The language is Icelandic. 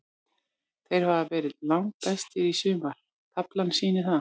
Þeir hafa verið langbestir í sumar, taflan sýnir það.